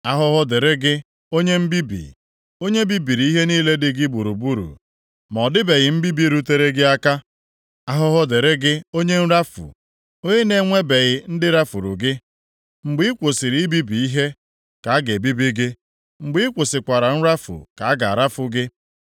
Ahụhụ dịrị gị, onye mbibi, onye bibiri ihe niile dị gị gburugburu, ma ọ dịbeghị mbibi rutere gị aka. Ahụhụ dịrị gị, onye nrafu, onye na-enwebeghị ndị rafuru gị. Mgbe ị kwụsịrị ibibi ihe ka a ga-ebibi gị, mgbe ị kwụsịkwara nrafu ka a ga-arafu gị.